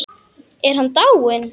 Er hann dáinn?